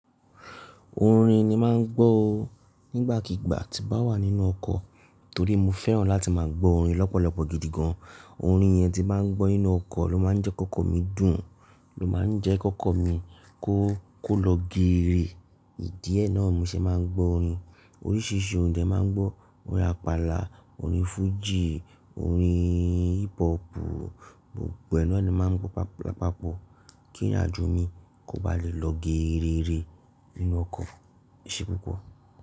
Orin ni máà ń gbọ́ o nígbàkigbà tí bá wà nínú ọkọ̀ torí mo fẹ́ràn láti máa gbọ́ orin lọ́pọ̀lọpọ̀ gidi gan. Orin yẹn tí máa ń gbọ́ nínú ọkọ̀ ló máa ń jẹ́ k'ọ́kọ́ mi dùn, ló máa ń jẹ́ k'ọ́kọ́ mi kó lọ geere. Ìdí ẹ náà ni mo ṣe máa ń gbọ́ orin. Oríṣiríṣi orin dẹ̀ máa ń gbọ́, orin àpàlà, orin fújì, orin hip hop, gbogbo ẹ náà ni máa ń gbọ́ papapọ̀ kí ìrìnàjò mi kó ba lè lọ geere nínú ọkọ̀. Ìṣe púpọ̀